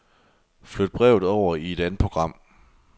Flyt brevet over i et andet program.